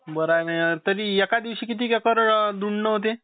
बराय न तरी एका दिवशी किती एकर धुंडन होते?